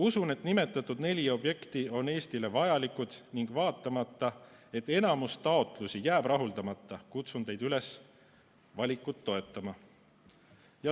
Usun, et nimetatud neli objekti on Eestile vajalikud ning vaatamata sellele, et enamus taotlusi jääb rahuldamata, kutsun teid üles valikut toetama.